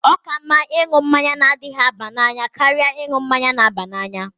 Ọ ka mma ịṅụ mmanya na-adịghi aba n'anya karịa ịṅụ mmanya na-aba n'anya.